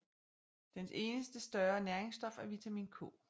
Dens eneste større næringsstof er vitamin K